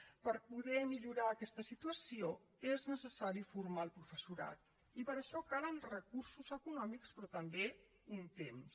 per poder millorar aquesta situació és necessari formar el professorat i per això calen recursos econòmics però també un temps